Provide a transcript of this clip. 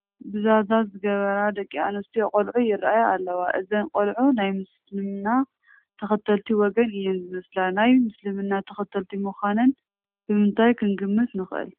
ብዛዛ ዝገበራ ደቂ ኣነስትዮ ቆልዑ ይርአያ ኣለዋ፡፡ እዘን ቆልዑ ናይ ምስልምና ተኸተልቲ ወገን እየን ዝመስላ፡፡ ናይ ምስልምና ተኸተልቲ ምዃነን ብምንታይ ክንግምት ንኽእል?